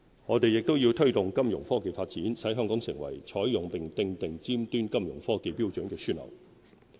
我們亦要推動金融科技發展，使香港成為採用並訂立尖端金融科技標準的樞紐。